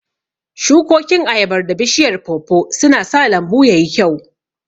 Shukokin ayabar da bishiyar pawpaw sun sa lambu ya yi kyau.